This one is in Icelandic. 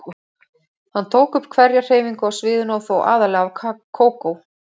Hann tók upp hverja hreyfingu á sviðinu og þó aðallega af Kókó.